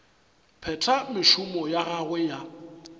phetha mešomo ya gagwe ya